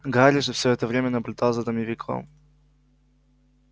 гарри же всё это время наблюдал за домовиком